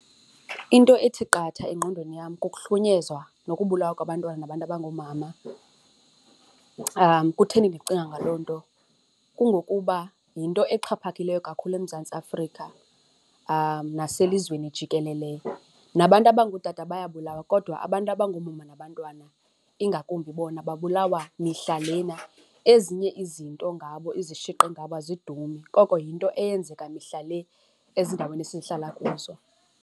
Into ethi qatha engqondweni yam kukuhlukunyezwa nokubulalwa kwabantwana nabantu abangoomama. Kutheni ndicinga ngaloo nto? Kungokuba yinto exhaphakileyo kakhulu eMzantsi Afrika naselizweni jikelele. Nabantu abangootata bayabulawa kodwa abantu abangoomama nabantwana, ingakumbi bona babulawa mihla lena. Ezinye izinto ngabo, izishiqi ngabo azidumi, oko yinto eyenzeka mihla le ezindaweni esihlala kuzo.